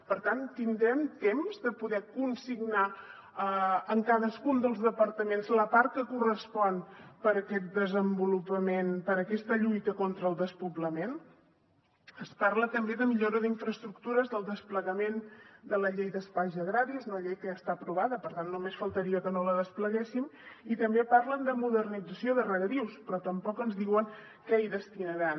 per tant tindrem temps de poder consignar en cadascun dels departaments la part que correspon per a aquesta lluita contra el despoblament es parla també de millora d’infraestructures del desplegament de la llei d’espais agraris una llei que ja està aprovada per tant només faltaria que no la despleguéssim i també parlen de modernització de regadius però tampoc ens diuen què hi destinaran